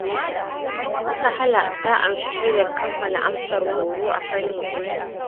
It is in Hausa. Sahla ta amshi shaidar kammala amsar horo a fannin ɗinki